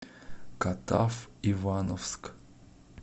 катав ивановск